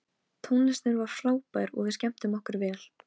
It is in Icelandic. Tónlistin var frábær og við skemmtum okkur vel.